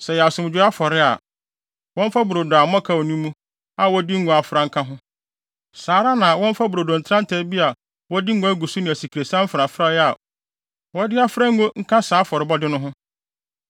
“ ‘Sɛ ɛyɛ asomdwoe afɔre a, wɔmfa brodo a mmɔkaw nni mu a wɔde ngo afra nka ho. Saa ara na wɔmfa brodo ntrantraa bi a wɔde ngo agu so ne asikresiam mfrafrae a wɔde afra ngo nka saa afɔrebɔde no ho.